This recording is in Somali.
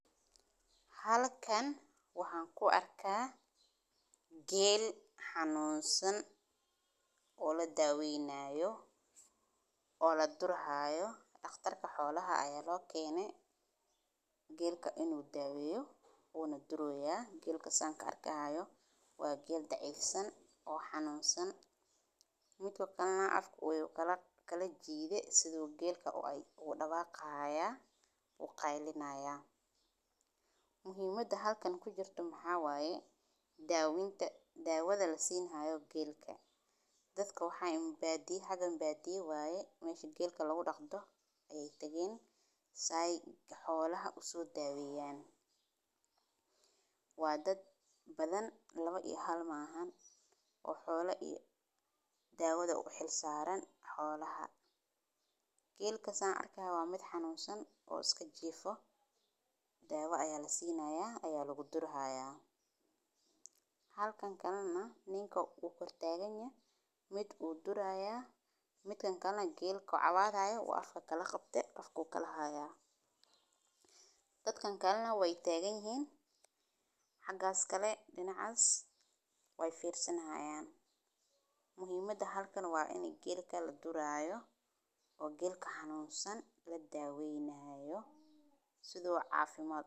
Marka la arkeyo geela jirran, waa in la sameeyaa talaabooyin degdeg ah oo la xiriiriya xanaanada xoolaha si loo daweeyo xanuunka, waxaana lagama maarmaan ah in la hubiyo in ay helaan biyo nadiif ah, cunto nafaqo leh, iyo hoy la iska ilaaliyo qaboowga iyo kulaylka, sidoo kale waa in la sameeyaa dawooyin caafimaad oo loo maro geela si loo hortago cudurrada sida qandho, dhagxaan, iyo xanuunada neefmada, waxaana muhiim ah in la dhaqso dhaqso geliyo daawo marka la ogaado in geelu ay qabanayso wax xanuun ah, gaar ahaan marka ay muujiyaan calaamadaha la mid ah istaagid, cabsi, ama hilbo la’aan, waa in la keenaa xanaanada geela si degdeg ah.